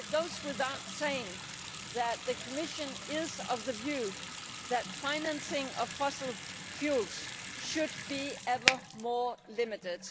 It goes without saying that the Commission is of the view that financing of fossil fuels should be ever more limited.